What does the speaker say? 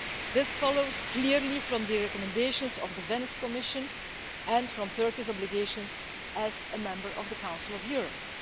This follows clearly from the recommendations of the Venice Commission and from Turkey's obligations as a member of the Council of Europe.